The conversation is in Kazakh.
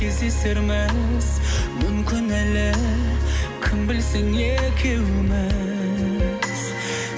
кездесерміз мүмкін әлі кім білсін екеуміз